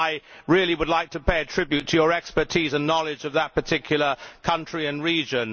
I really would like to pay a tribute to your expertise and knowledge of that particular country and region.